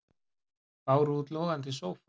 Báru út logandi sófa